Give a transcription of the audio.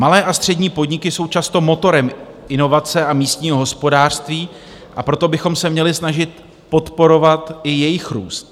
Malé a střední podniky jsou často motorem inovace a místního hospodářství, a proto bychom se měli snažit podporovat i jejich růst.